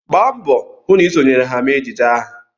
Gba mbọ hụ na ị sonyere ha mee ejije ahụ!